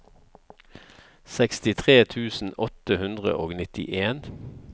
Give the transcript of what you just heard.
sekstitre tusen åtte hundre og nittien